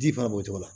Ji fana b'o cogo la